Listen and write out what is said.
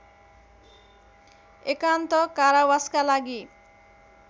एकान्त कारावासका लागि